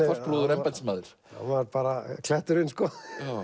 embættismaður hann var kletturinn sko